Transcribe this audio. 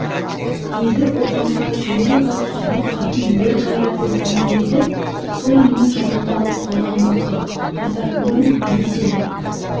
деді ұлпанға жүйрік ат сұлу қатын ер қайраты дейтін бе еді сол менің жанымды алып қалған жоқты айтатының не сенің